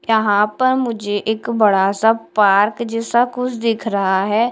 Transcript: यहाँ पर मुझे एक बड़ा सा पार्क जैसा कुछ दिख रहा है।